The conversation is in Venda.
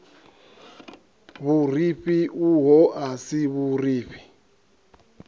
vhurifhi uho a si vhurifhi